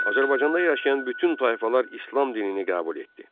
Azərbaycanda yaşayan bütün tayfalar İslam dinini qəbul etdi.